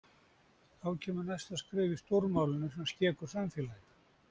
Þá kemur næsta skref í „stórmálinu sem skekur samfélagið“.